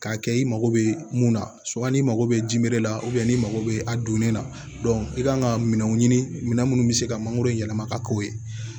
K'a kɛ i mago bɛ mun na n'i mago bɛ jiri la n'i mago bɛ a donnen la i kan ka minɛnw ɲini minɛn minnu bɛ se ka mangoro yɛlɛma ka k'o ye